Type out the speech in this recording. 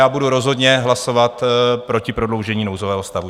Já budu rozhodně hlasovat proti prodloužení nouzového stavu.